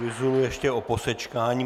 Vyzulu ještě o posečkání.